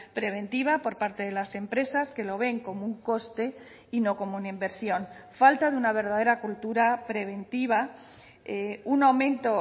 preventiva por parte de las empresas que lo ven como un coste y no como una inversión falta de una verdadera cultura preventiva un aumento